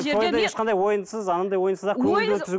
тойда ешқандай ойынсыз анандай ойынсыз ақ көңілді өткізу